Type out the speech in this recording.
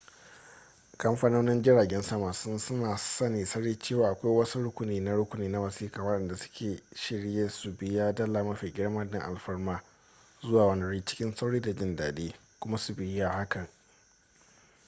kamfanonin jiragen sama sun sani sarai cewa akwai wasu rukuni na rukuni na wasiƙa waɗanda suke shirye su biya dala mafi girma don alfarmar zuwa wani wuri cikin sauri da jin daɗi kuma su biya hakan